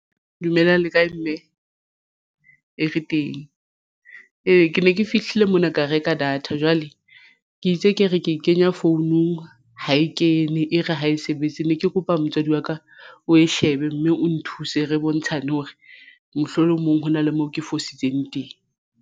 Dumelang le kae mme ee re teng? Ee, ke ne ke fihlile mona ka reka data jwale ke itse ke re ke e kenya founung ha e kene e re ha e sebetse ne ke kopa motswadi wa ka o e shebe mme o nthuse. Re bontshane hore mohlolomong hona le moo ke fositseng teng.